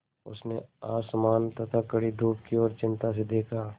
उसने आसमान तथा कड़ी धूप की ओर चिंता से देखा